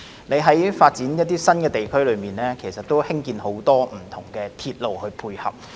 你在發展一些新地區時興建很多不同的鐵路配合。